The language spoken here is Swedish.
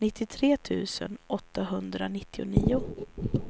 nittiotre tusen åttahundranittionio